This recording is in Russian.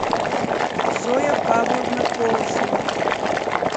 зоя павловна колосова